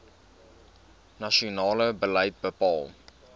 nasionale beleid bepaal